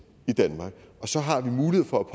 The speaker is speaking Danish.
i danmark og så har vi mulighed for